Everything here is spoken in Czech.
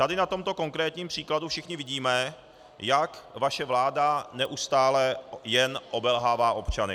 Tady na tomto konkrétním příkladu všichni vidíme, jak vaše vláda neustále jen obelhává občany.